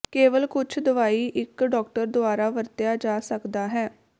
ਕੇਵਲ ਕੁਝ ਦਵਾਈ ਇੱਕ ਡਾਕਟਰ ਦੁਆਰਾ ਵਰਤਿਆ ਜਾ ਸਕਦਾ ਹੈ